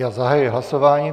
Já zahajuji hlasování.